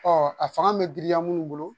Ɔ a fanga bɛ giriya mun bolo